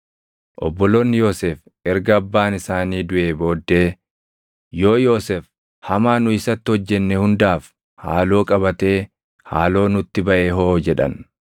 Obboloonni Yoosef erga abbaan isaanii duʼee booddee, “Yoo Yoosef hamaa nu isatti hojjennee hundaaf haaloo qabatee haaloo nutti baʼe hoo?” jedhan.